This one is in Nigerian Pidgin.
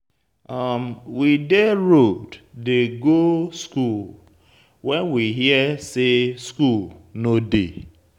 We dey road dey go school when we hear say school no dey.